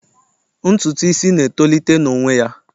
Ntutu isi na etolite n'onwe ya.